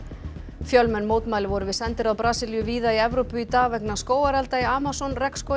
fjölmenn mótmæli voru við sendiráð Brasilíu víða um Evrópu í dag vegna skógarelda í Amazon